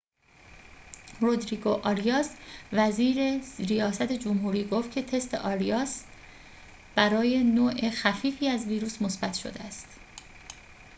رودریگو آریاس وزیر ریاست جمهوری گفت که تست آریاس برای نوع خفیفی از ویروس مثبت شده است